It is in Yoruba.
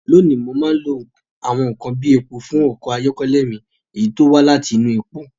Lónìí, mo máa ń lo àwọn nkan bíi epo fún ọkọ̀ ayọ́kẹ́lẹ́ mi, èyí tí ó wá láti inú epo.